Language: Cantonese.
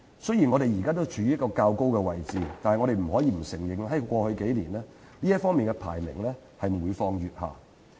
雖然本港的營商環境仍然處於較高位置，但我們不能否認，在過去數年，這方面的排名每況愈下。